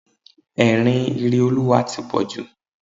Ẹ̀rín Ireolúwa tí pọ̀ jù.